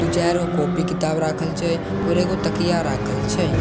दू-चाइर गो कोपी किताब राखल छै आओर एगो तकिया राखल छै।